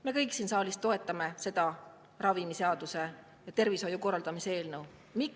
Me kõik siin saalis toetame ravimiseaduse ja tervishoiu korraldamise eelnõu.